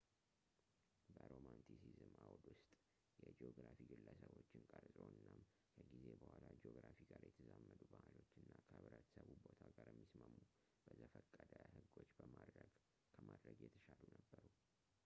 በሮማንቲሲዝም አውድ ውስጥ የጂኦግራፊ ግለሰቦችን ቀርጾ እናም ከጊዜ በኋላ ጂኦግራፊ ጋር የተዛመዱ ባሕሎች እና ከህብረተሰቡ ቦታ ጋር የሚስማሙ በዘፈቀደ ህጎች ከማድረግ የተሻሉ ነበሩ